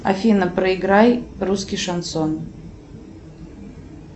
афина проиграй русский шансон